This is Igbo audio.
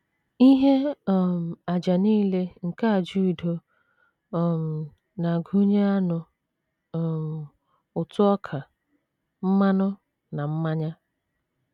Ihe um àjà nile nke àjà udo um na - agụnye anụ um, ụtụ ọka, mmanụ, na mmanya.